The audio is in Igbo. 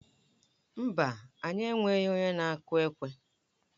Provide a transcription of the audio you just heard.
Mba, anyị enweghị onye na-akụ ekwe.